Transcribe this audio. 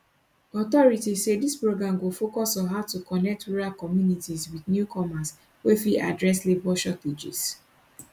authorities say dis program go focus on how to connect rural communities wit newcomers wey fit address labor shortages